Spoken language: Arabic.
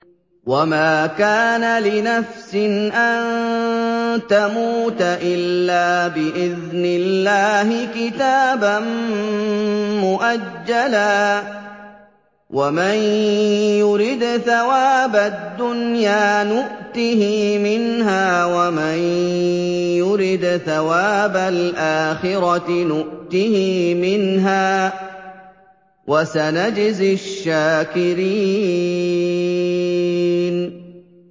وَمَا كَانَ لِنَفْسٍ أَن تَمُوتَ إِلَّا بِإِذْنِ اللَّهِ كِتَابًا مُّؤَجَّلًا ۗ وَمَن يُرِدْ ثَوَابَ الدُّنْيَا نُؤْتِهِ مِنْهَا وَمَن يُرِدْ ثَوَابَ الْآخِرَةِ نُؤْتِهِ مِنْهَا ۚ وَسَنَجْزِي الشَّاكِرِينَ